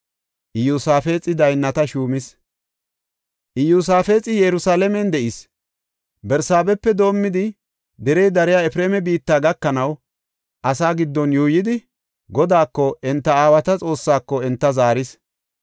Iyosaafexi Yerusalaamen de7is. Barsaabepe doomidi derey dariya Efreema biitta gakanaw asaa giddon yuuyidi, Godaako, enta aawata Xoossaako enta zaaris.